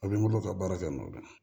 A bɛ n bolo ka baara kɛ n'o ye